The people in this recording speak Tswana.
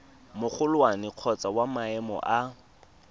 magolwane kgotsa wa maemo a